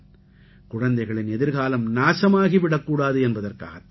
குழந்தைகளின் எதிர்காலம் நாசமாகி விடக்கூடாது என்பதற்காகத் தான்